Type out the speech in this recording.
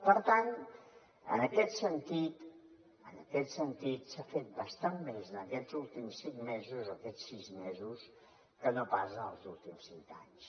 per tant en aquest sentit en aquest sentit s’ha fet bastant més en aquests últims cinc mesos o aquests sis mesos que no pas en els últims cinc anys